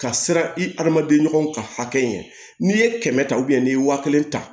Ka siran i hadamaden ɲɔgɔnw ka hakɛ ɲɛ n'i ye kɛmɛ ta n'i ye wa kelen ta